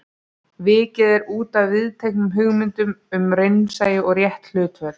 Vikið er útaf viðteknum hugmyndum um raunsæi og rétt hlutföll.